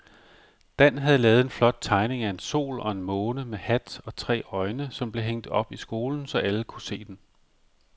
Dan havde lavet en flot tegning af en sol og en måne med hat og tre øjne, som blev hængt op i skolen, så alle kunne se den.